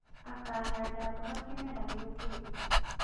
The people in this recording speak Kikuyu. Akaganda mboga kĩmera gĩũkĩte